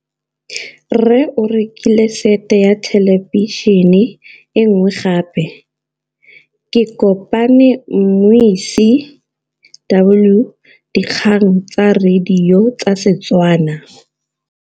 Rre o rekile sete ya thêlêbišênê e nngwe gape. Ke kopane mmuisi w dikgang tsa radio tsa Setswana.